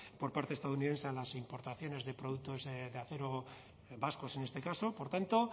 por parte de estadounidenses a las importaciones de productos de acero vascos en este caso por tanto